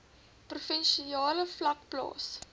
provinsiale vlak plaas